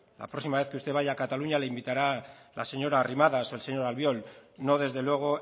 la próxima vez que usted vaya a cataluña le invitará la señora arrimadas o el señor albiol no desde luego